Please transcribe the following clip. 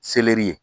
Seleri ye